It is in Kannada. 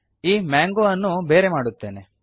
ಈ ಮಾಂಗೋ ಅನ್ನು ಬೇರೆ ಮಾಡುತ್ತೇನೆ